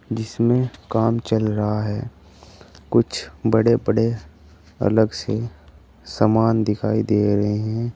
जिसमें काम चल रहा है कुछ बड़े बड़े अलग से समान दिखाई दे रहे हैं।